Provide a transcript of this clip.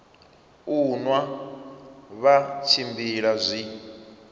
u nwa vha tshimbila zwi